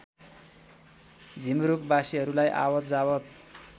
झिमरुक बासीहरूलाई आवतजावत